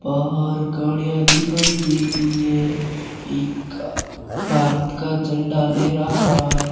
बाहर गाड़ियां दिखाई दे रही है एक भारत का झंडा लहरा रहा --